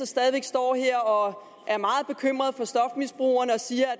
stadig står her og er meget bekymret for stofmisbrugerne og siger